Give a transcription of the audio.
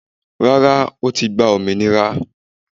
Rárá, o ti gba òmìnira.